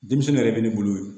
Denmisɛnnin yɛrɛ bɛ ne bolo ye